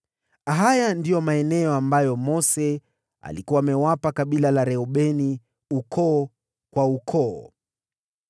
Haya ndiyo maeneo ambayo Mose alikuwa amewapa kabila la Reubeni ukoo kwa ukoo: